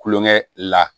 Kulonkɛ la